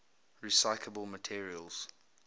recyclable materials